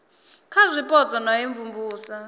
kha zwipotso na u imvumvusa